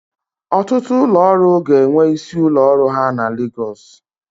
Ọtụtụ ụlọ ọrụ ga-enwe isi ụlọ ọrụ ha na Legọs.